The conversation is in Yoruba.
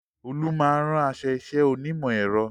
Olú máa ń rán aṣọ iṣẹ́ onímọ̀ ẹ̀rọ